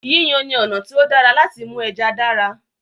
Yíyan ni ọ̀nà tí ó dára láti mú ẹja dára.